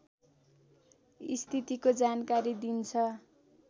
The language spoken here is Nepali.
स्थितिको जानकारी दिन्छ